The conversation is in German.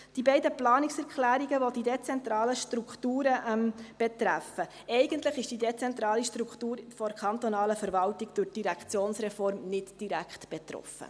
Zu den beiden Planungserklärungen, welche die dezentralen Strukturen betreffen: Eigentlich ist die dezentrale Struktur der kantonalen Verwaltung durch die Direktionsreform nicht direkt betroffen.